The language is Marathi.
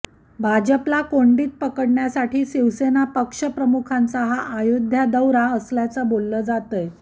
भाजपला कोंडीत पकडण्यासाठी शिवसेना पक्षप्रमुखांचा हा अयोध्या दौरा असल्याच बोललं जातंय